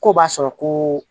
Ko b'a sɔrɔ koo